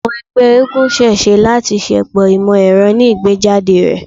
Awọn ẹgbẹ eégún ṣee ṣe lati ṣepọ imọ-ẹrọ ni igbejade rẹ